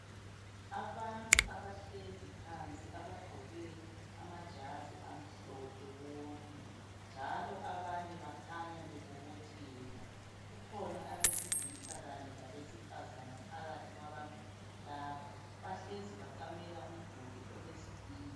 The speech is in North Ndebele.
Abantu abahlezi phansi abagqoke amajazi amhlophe bonke njalo abanye bakhanya bebobotheka, kukhona abesilisa kanye labesifazana phakathi kwabantu laba bahlezi baqamela umduli olezitina.